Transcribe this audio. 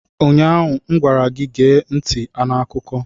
Ụnyaahụ m gwara gị, gee ntị n'akụkọ!